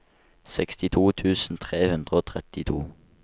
sekstito tusen tre hundre og trettito